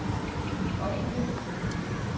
offentligt